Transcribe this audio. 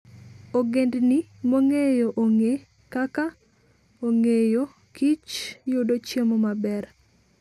Ogendini mong'eyo ong'e kaka ong'eyokich, yudo chiemo maber.